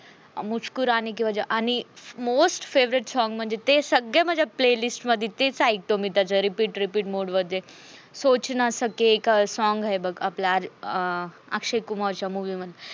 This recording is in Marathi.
मुस्कुराने की वजा आणि most favorite song म्हणजे ते सगळ्या माझ्या play list मधी तेच ऐकतो मी repeat repeat mode मध्ये, सोच ना सके song हाय बघ. आपल्या अं अक्षय कुमारच्या movie मध्ये